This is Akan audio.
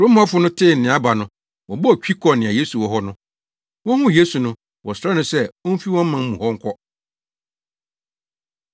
Kurom hɔfo no tee nea aba no, wɔbɔɔ twi kɔɔ nea Yesu wɔ hɔ no. Wohuu Yesu no, wɔsrɛɛ no sɛ omfi wɔn man mu hɔ nkɔ.